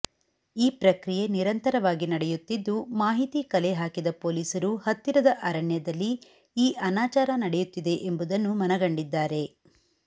ಈ ಪ್ರಕ್ರಿಯೆ ನಿರಂತರವಾಗಿ ನಡೆಯುತ್ತಿದ್ದು ಮಾಹಿತಿ ಕಲೆ ಹಾಕಿದ ಪೊಲೀಸರು ಹತ್ತಿರದ ಅರಣ್ಯದಲ್ಲಿ ಈ ಅನಾಚಾರ ನಡೆಯುತ್ತಿದೆ ಎಂಬುದನ್ನು ಮನಗಂಡಿದ್ದಾರೆ